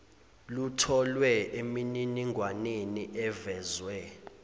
lutholwe emininingwaneni evezwe